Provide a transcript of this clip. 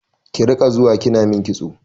Ki riƙa zuwa kina min kitso!